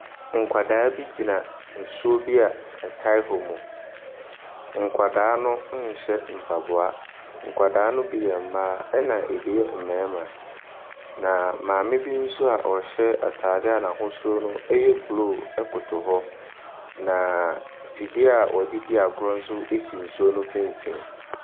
Nkwadaa bi gyina nsuo bi a ɛtaa hɔ mu. Nkwadaa no nhyɛ mpaboa. Nkwadaa no bi yɛ mmaa, ɛna ɛbi yɛ mmarima. Na mmame bi nso a ɔhyɛ atadeɛ a n'ahosuo no yɛ blue koto hɔ. Na mfidie a wɔde di akorɔ nso si nsuo no mfimfini.